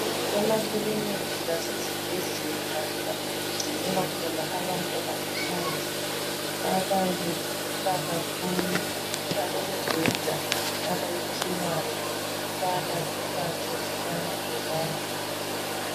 Emakiliki lasezibhedlela lapho ukungcinelwa khona abantu abagulayo ababe begula kakhulu balemibheda abayiphiwayo ukubana beyelatshwe belala khonapho.